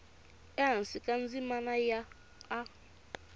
ehansi ka ndzimana ya a